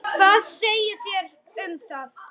Hvað segið þér um það?